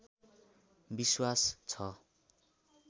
विश्वास छ